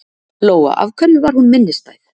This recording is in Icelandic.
Lóa: Af hverju var hún minnistæð?